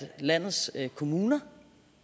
landets kommuner